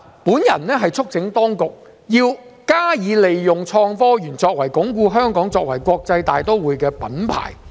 我促請當局必須加以利用創科園作為鞏固香港作為國際大都會的品牌。